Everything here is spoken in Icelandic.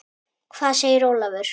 Hvað segir Ólafur?